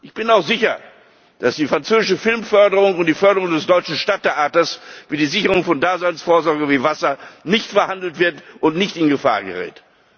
Ich bin auch sicher, dass die französische Filmförderung und die Förderung des deutschen Stadttheaters wie die Sicherung von Daseinsvorsorge wie Wasser nicht verhandelt werden und nicht in Gefahr geraten.